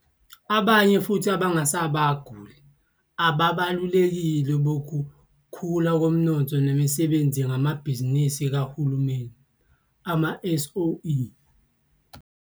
Abanye futhi abangabasunguli ababalulekile bokukhula komnotho nemisebenzi ngamabhizinisi kahulumeni, ama-SOE.